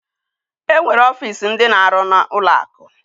Enwere ọfịs ndi na-aru na ụlọ akụ.